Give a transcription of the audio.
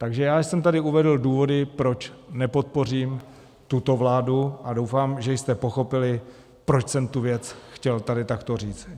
Takže já jsem tady uvedl důvody, proč nepodpořím tuto vládu, a doufám, že jste pochopili, proč jsem tu věc chtěl tady takto říct.